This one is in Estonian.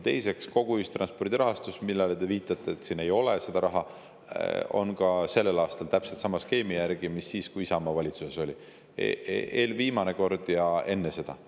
Teiseks, kogu ühistranspordi rahastus – te viitate, et siin ei ole seda raha – on ka sellel aastal täpselt sama skeemi järgi nagu siis, kui Isamaa valitsuses oli, eelviimane kord ja enne seda.